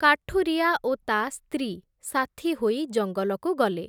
କାଠୁରିଆ ଓ ତା ସ୍ତ୍ରୀ ସାଥୀହୋଇ ଜଙ୍ଗଲକୁ ଗଲେ ।